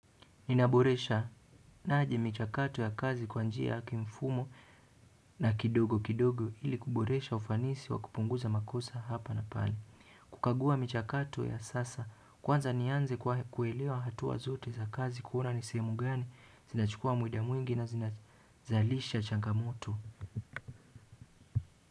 Ninaboreshaje michakato ya kazi kwa njia ya kimfumo na kidogo kidogo ili kuboresha ufanisi wa kupunguza makosa hapa na pale. Kukagua michakato ya kisasa kwanza nianze kuelewa hatua zote za kazi kuona nisehemu gani zinachukua muda mwingi na zinazalisha changamoto.